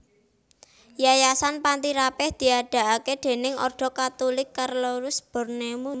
Yayasan Panti Rapih diadegaké déning Ordo Katulik Carolus Borromeus